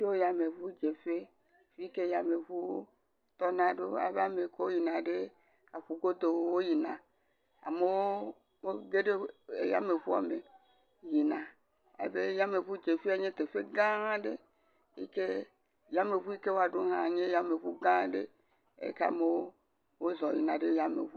Me sia wò katã bɔbɔ nɔ anyi ɖe xɔ sia me. Wokɔ nane kɔ ɖe tonu eye ekplɔ le wòƒe ako me. Nyale katsi le wò dometɔ ɖe sia ɖe ƒe akpa me. Wòle nusɔsrɔ wɔm le nyalekatsi la dzi